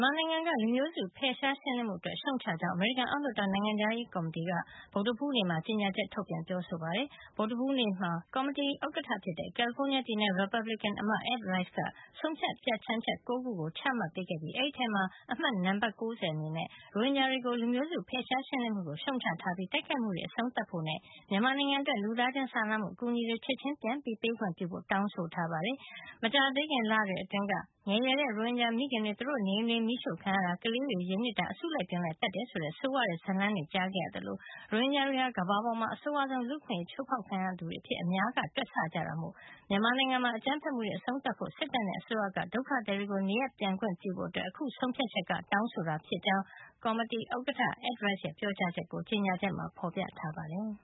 မာနိုင်ငံက လူမျိုးစု ဖယ်ရှားရှင်းလင်းမှုအတွက် ရှုတ်ချကြောင်း အမေရိကန် အောက်လွှတ်တော် နိုင်ငံခြားရေးရာကော်မတီက ဗုဒ္ဓဟူးနေ့က အတည်ပြုလိုက်ပါတယ်။ ဗုဒ္ဓဟူးနေ့မှာ ကော်မတီကဥက္ကဋ္ဌ ဖြစ်တဲ့ ကယ်လီဖိုးနီးယားပြည်နယ် ရီပတ်ဘလစ်ကင်အမတ် Ed Royce က ဆုံးဖြတ် ပြဌာန်းချက် ၉ ခုကို အတည်ပြု ပေးခဲ့တာဖြစ်ပြီး အဲဒီထဲက တခုဖြစ်တဲ့ H. Con. Res. 90 မှာတော့ ရိုဟင်ဂျာတွေကို လူမျိုးစု ဖယ်ရှားရှင်းလင်းမှုကို ရှုတ်ချထားပြီး တိုက်ခိုက်မှုတွေ အဆုံးသတ်ဖို့နဲ့ မြန်မာနိုင်ငံအတွက် လူသားချင်းစာနာမှုအကူညီတွေ ချက်ချင်းပြန်ပေးခွင့်ပြုဖို့ တောင်းဆိုထားပါတယ်။ မကြာသေးခင်လတွေအတွင်းက ငယ်ရွယ်တဲ့ ရိုဟင်ဂျာမိခင်တွေ သူတို့နေအိမ်တွေ မီးရှို့ ခံရတာ၊ ကလေးတွေ ရေနစ်တာ၊ အစုလိုက်အပြုံလိုက် သတ်တယ် ဆိုတဲ့ ဆိုးဝါးတဲ့ ဇာတ်လမ်းတွေ ကြားခဲ့ရသလို ရိုဟင်ဂျာတွေဟာ ကမ္ဘာပေါ်မှာ အဆိုးဝါးဆုံး လူ့အခွင့်ရေး အချိုးဖေါက်ခံရသူတွေ အဖြစ်အများက တွက်ဆကြတာမို့ မြန်မာနိုင်ငံမှာ အကြမ်းဖက် မှုတွေ အဆုံးသတ်ဖို့၊ စစ်တပ်နဲ့အစိုးရက ဒုက္ခသည်တွေကို နေရပ်ပြန်ခွင့်ပြုဖို့ အခု ဆုံးဖြတ်ချက်က တောင်းဆိုတာ ဖြစ်ကြောင်း ကော်မတီက ဥက္ကဋ္ဌ Ed Royce ရဲ့ ပြောကြား ချက်ကို ကြေညာချက်မှာ ဖေါ်ပြထားပါတယ်